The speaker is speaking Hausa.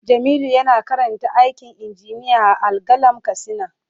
Jamilu yana karanta aikin injiniya a Al-qalam katsina.